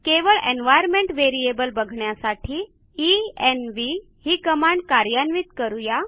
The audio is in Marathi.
केवळ एन्व्हायर्नमेंट व्हेरिएबल बघण्यासाठी एन्व्ह ही कमांड कार्यान्वित करू या